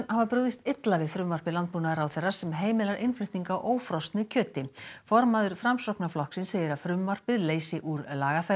hafa brugðist illa við frumvarpi landbúnaðarráðherra sem heimilar innflutning á ófrosnu kjöti formaður Framsóknarflokksins segir að frumvarpið leysi úr